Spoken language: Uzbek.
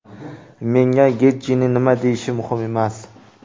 Menga Getjining nima deyishi muhim emas.